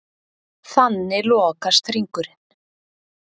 Þannig lokast hringurinn.